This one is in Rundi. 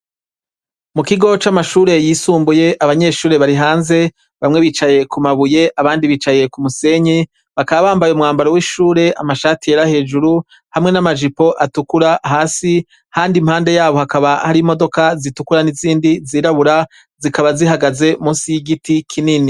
Mu kigo c'amashure yisumbuye abanyeshure bari hanze bamwe bicaye ku mabuye abandi bicaye ku musenyi bakaba bambaye umwambaro w'ishure amashati yera hejuru hamwe n'amajipo atukura hasi, kandi impande yabo hakaba hari imodoka zitukura n'izindi zirabura zikaba zihagaze musi y'igiti kinini.